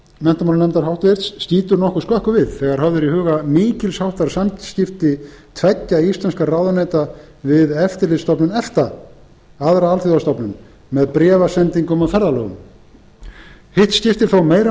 menntamálanefndar háttvirtur skýtur nokkuð skökku við þegar höfð eru í huga mikils háttar samskipti tveggja íslenskra ráðuneyta við eftirlitsstofnun efta aðra eftirlitsstofnun með bréfasendingum og ferðalögum hitt skiptir þó meira